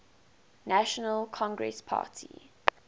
national congress party